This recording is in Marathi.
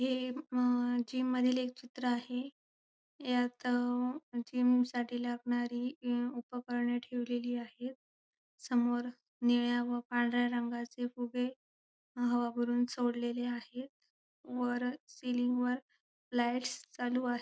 हे अ जिम मधील एक चित्र आहे यात जिमसाठी लागणारी उपकरणे ठेवलेली आहेत समोर निळ्या व पांढऱ्या रंगाचे फुगे हवा भरून सोडलेले आहेत वर सिलिंग वर लाईट्स चालू आहे.